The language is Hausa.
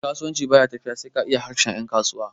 kasuwanci ba ya tafiya sai ka iya harshen yankasuwa